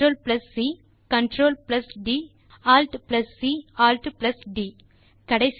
Ctrl C Ctrl D Alt C Alt D கடைசியாக